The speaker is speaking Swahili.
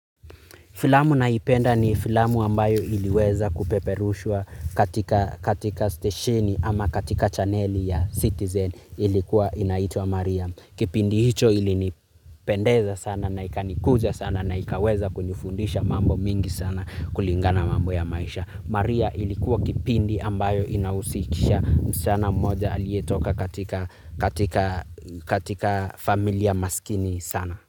Filamu naipenda ni filamu ambayo iliweza kupeperushwa katika stesheni ama katika chaneli ya citizen ilikuwa inaitwa Maria. Kipindi hicho ili nipendeza sana na ikanikuza sana na ikaweza kunifundisha mambo mingi sana kulingana na mambo ya maisha. Maria ilikuwa kipindi ambayo inahusisha msichana mmoja aliyetoka katika familia maskini sana.